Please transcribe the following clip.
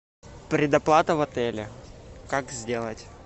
предоплата в отеле как сделать